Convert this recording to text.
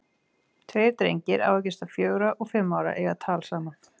Tveir drengir, á að giska fjögra og fimm ára, eiga tal saman.